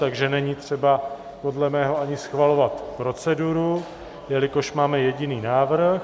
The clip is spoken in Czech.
Takže není třeba podle mého ani schvalovat proceduru, jelikož máme jediný návrh.